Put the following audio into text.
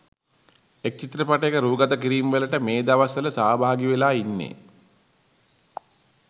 එක් චිත්‍රපටයක රූගතකිරීම්වලට මේ දවස්වල සහභාගිවෙලා ඉන්නෙ